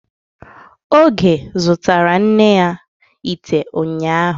Oge zụtara nne ya ite unyahu